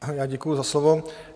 Já děkuju za slovo.